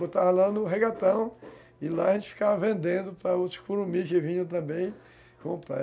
Botava lá no regatão e lá a gente ficava vendendo para outras que vinham também comprar.